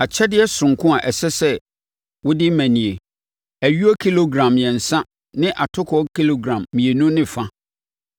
“ ‘Akyɛdeɛ soronko a ɛsɛ wode ma nie: Ayuo kilogram mmiɛnsa ne atokoɔ kilogram mmienu ne fa.